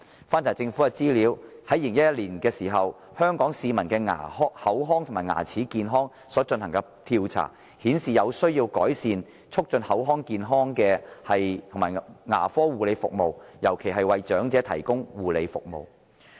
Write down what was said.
翻查政府資料 ，2011 年曾進行有關香港市民的口腔和牙齒健康的調查，結果顯示有需要改善促進口腔健康的牙科護理服務，尤其是為長者提供護理服務。